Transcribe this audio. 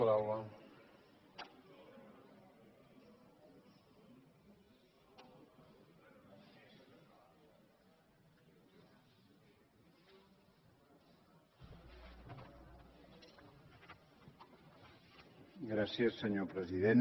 gràcies senyor president